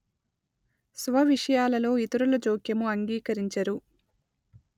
స్వ విషయాలలో ఇతరుల జోక్యము అంగీకరించరు